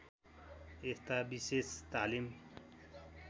यस्ता विशेष तालिम